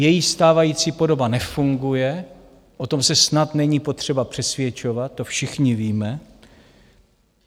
Její stávající podoba nefunguje, o tom se snad není potřeba přesvědčovat, to všichni víme.